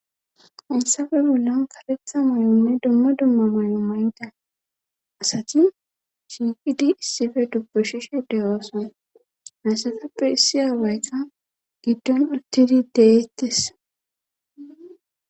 Issafe bollan karetha moyonne dumma dumma moyo maynda asati shiiqidi issife dubbushishe deyooson naysatappe issi aawayka giddon urtidi deettes